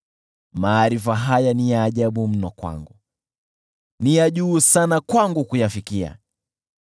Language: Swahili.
Maarifa haya ni ya ajabu mno kwangu, ni ya juu sana kwangu kuyafikia.